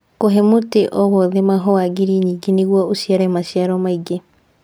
Kũhe mũtĩ o wothe mahũa ngiri nyingĩ nĩguo ũciare maciaro maingĩ